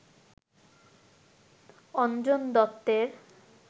অঞ্জন দত্তের